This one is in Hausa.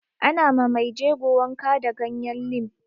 Ana ma mai jego wanka da ganyen lim